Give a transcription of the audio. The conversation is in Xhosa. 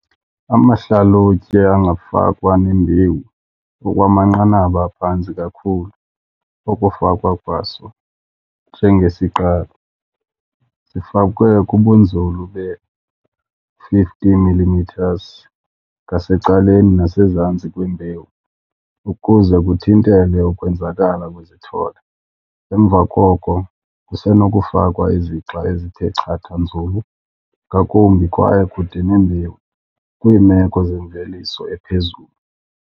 Amahlalutye angafakwa nembewu ngokwamanqanaba aphantsi kakhulu okufakwa kwaso "njengesiqalo" zifakwe kubunzulu be-50 mm ngasecaleni nasezantsi kwembewu ukuze kuthintelwe ukwenzakala kwezithole. Emva koko kusenokufakwa izixa ezithe chatha nzulu ngakumbi kwaye kude nembewu kwiimeko zemveliso ephezulu.